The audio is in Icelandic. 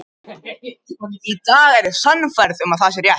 Í dag er ég sannfærð um að það er rétt.